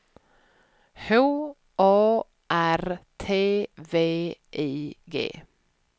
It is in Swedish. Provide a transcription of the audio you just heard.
H A R T V I G